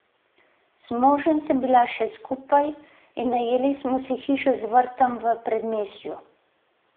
Z možem sem bila še skupaj in najeli smo si hišo z vrtom v predmestju.